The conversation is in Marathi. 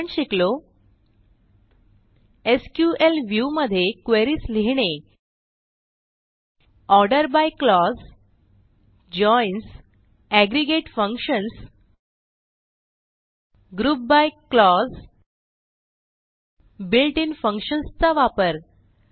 आपण शिकलो एसक्यूएल व्ह्यू मध्ये क्वेरीज लिहिणे order by clause joins aggregate functions group by clause built in functions चा वापर